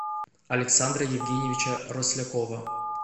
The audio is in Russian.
александра евгеньевича рослякова